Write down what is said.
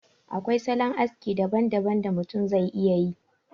Akwai salon aski daban daban da mutum zai iya yi